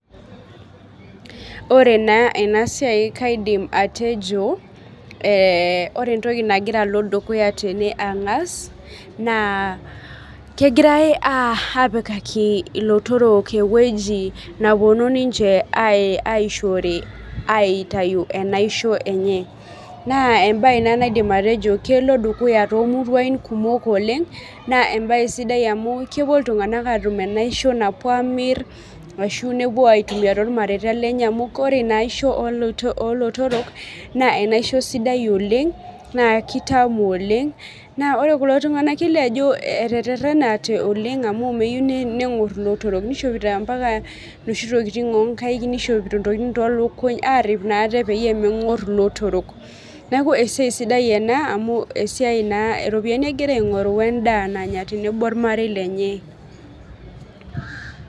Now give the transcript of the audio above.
Oree naa ena siai kaidim atejo, ee ore entoki nagira alo dukuya ang'as naa kegirai apikaki ilotorok eweji napuonu ninche aishore aitayu enaisho enye. Naa ebae naa naidim atejo kelo dukuya too muruan kumok oleng' naa enae sidai amuu kepuo iltung'ana atum enaisho napuo amir ashu napuo aitumia tolmareta lenye, amuu ore ina aisho olootorok naa enaisho sidai oleng naa kitamu oleng' naa ore kulo tung'ana naa kelio ajo etererenate oleng' amuu meyiou neng'or ilotorok. Nishopito mpaka noshi tokitin onkaik, nishopito tonkitin toolukuny arip naa ate peyie meng'or ilotorok. Neeku esiai sidai enaa amuu siai naa iropiani egira aing'oru wee edaa nanya tenebo ormarei lenye.